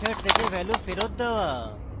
method থেকে value ফেরত দেওয়া